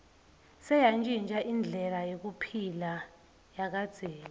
seyantjintja indlela yekuphila yakadzeni